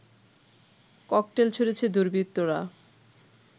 cocktail ছুঁড়েছে দুর্বৃত্তরা